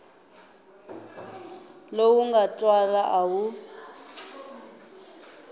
lowu nga twala a wu